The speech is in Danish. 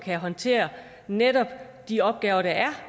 at håndtere netop de opgaver der er